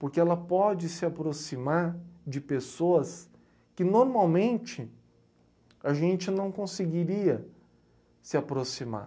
Porque ela pode se aproximar de pessoas que normalmente a gente não conseguiria se aproximar.